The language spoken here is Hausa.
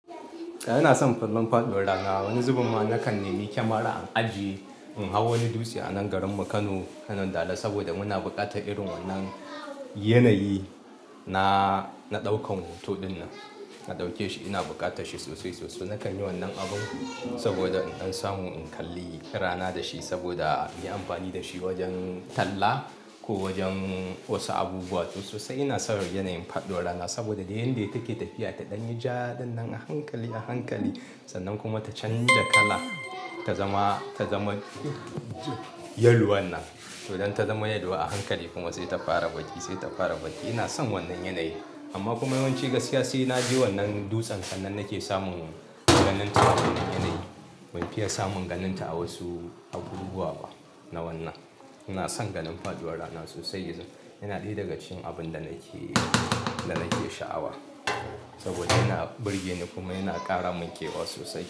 Ina son kallon faɗuwar rana. Wani zubumma na kan nemi kyamara an aji in hau wani dutse a nan garinmu Kano, wanna Dala saboda muna buƙatar irin wannan yanayi. Na, na ɗauka hoto ɗinnan, na ɗauke shi. Ina buƙata shi sosai sosai. Na kan yi wannan abun saboda in samu in kalli rana da shi saboda in yi amfani da shi wajen talla ko wajen wasu abubuwa. Sosai ina son yanayin faɗuwar rana saboda da yanda yake tafiya ta ɗan ja ɗinnan a hankali a hankali sannan kuma ta canja kala ta zama, ta zama yaluwan nan. To idan ta zama yaluwa a hankali kuma sai ta fara baƙi, sai ta fara baƙi. Ina son wannan yanayi amma kuma yawanci gaskiya sai naje wannan dutsen sannan nake samun ganin ta wannan yanayi. Ban fiya samun ganin ta a wasu abubuwa ba na wannan. Ina son ganin faɗuwar rana sosai izan. Yana ɗaya daga cikin abunda nake so kuma nake sha'awa, saboda yana birgeni kuma yana ɗebemin kewa sosai.